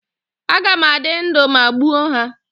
Aga m adị ndụ ma m gbuo ha?